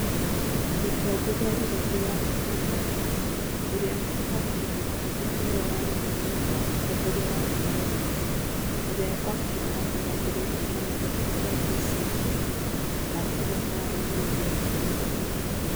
Mũtongoria Rigathi wa Gachagua, ũrĩa gwa kahinda kahĩtũku nĩwe ũrarĩ mũnini wa mũtongoria wa bũrũri, ũrĩa gwa kahinda gaka nĩambĩrĩirie kĩama gĩake kĩa DCP, na akagĩa na arũmĩrĩri aingĩ mũno.